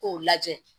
K'o lajɛ